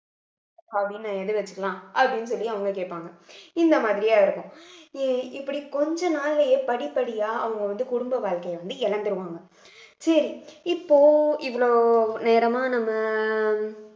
அப்படின்னு எழுதி வச்சுக்கலாம் அப்படின்னு சொல்லி அவங்க கேட்பாங்க இந்த மாதிரியே இருக்கும் இ~ இப்படி கொஞ்ச நாள்லயே படிப்படியா அவங்க வந்து குடும்ப வாழ்க்கையை வந்து இழந்துருவாங்க சரி இப்போ இவ்வளவு நேரமா நம்ம